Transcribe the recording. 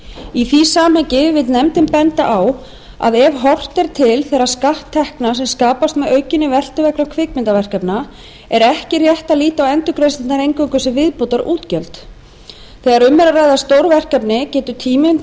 í því samhengi vill nefndin benda á að ef horft er til þeirra skatttekna sem skapast með aukinni veltu vegna kvikmyndaverkefnanna er ekki rétt að líta á endurgreiðslurnar eingöngu sem viðbótarútgjöld þegar um er að ræða stór verkefni getur tíminn